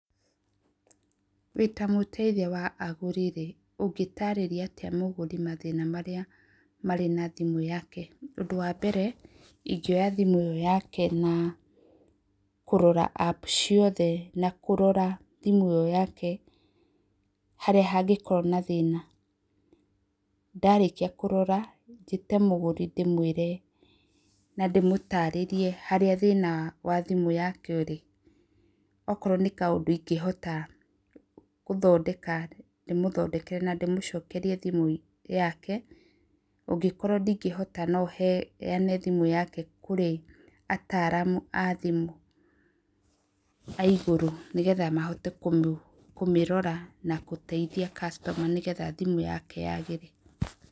Wĩ ta mũteithia wa agũri rĩ, ũngĩtaarĩria atĩa mũgũri mathĩna marĩa marĩ na thimũ yake? Ũndũ wa mbere, ingĩoya thimũ ĩyo yake na kũrora app ciothe, na kũrora thimũ ĩyo yake harĩa hangĩkorwo na thĩna, ndarĩkia kũrora njĩte mũgũri ndĩmũĩre na ndĩmũtarĩrie harĩa thĩna wa thimũ yake ũrĩ, okorwo nĩ kaũndũ ingĩhota gũthondeka ndĩmũthondekere na ndĩmũcokerie thimũ yake, angĩkorwo ndĩngĩhota no heyane thimũ yake kũrĩ ataaramu a thimũ aigũrũ, nĩgetha mahote kũmĩrora na gũteithia customer [cs,] nĩgetha thimũ yake yagĩre.